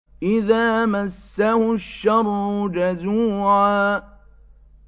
إِذَا مَسَّهُ الشَّرُّ جَزُوعًا